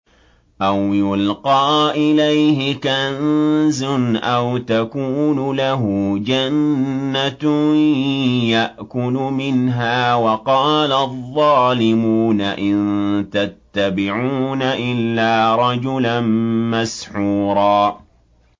أَوْ يُلْقَىٰ إِلَيْهِ كَنزٌ أَوْ تَكُونُ لَهُ جَنَّةٌ يَأْكُلُ مِنْهَا ۚ وَقَالَ الظَّالِمُونَ إِن تَتَّبِعُونَ إِلَّا رَجُلًا مَّسْحُورًا